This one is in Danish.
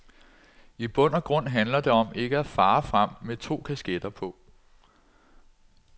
I bund og grund handler det om ikke at fare frem med to kasketter på.